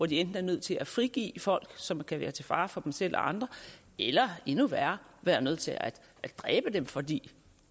de enten er nødt til at frigive folk som kan være til fare for dem selv og andre eller endnu værre er nødt til at dræbe dem fordi